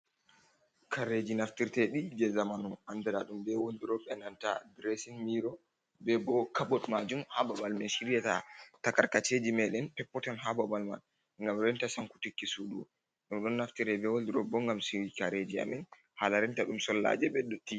Kareji naftirteɗi je zamanu, anɗiradum ɓe wolɗurop e nanta ɗiresin miro. Ɓe ɓo kabot majum, ha ɓaɓal min shiryata takarkaceji meɗen peppoton ha ɓaɓal man, ngam renta sankutiki suɗu. Ɗum ɗon naftire ɓe wolɗirop ɓo ngam siguki kareji amin, hala rinta ɗum sollaje ɓe ɗotti.